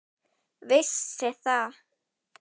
Vissi það.